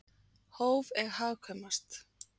Hóf er hagkvæmast.